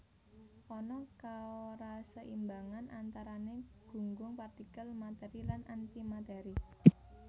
Ana kaoraseimbangan antarané gunggung partikel matèri lan antimatèri